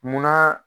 Munna